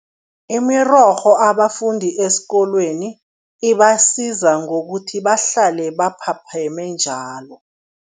Imirorho abafundi esikolweni, ibasiza ngokuthi bahlale baphapheme njalo.